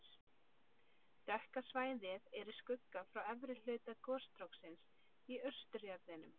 Dökka svæðið er í skugga frá efri hluta gosstróksins í austurjaðrinum.